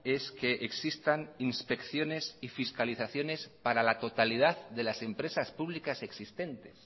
es que existan inspecciones y fiscalizaciones para la totalidad de las empresas públicas existentes